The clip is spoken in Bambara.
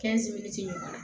ɲɔgɔnna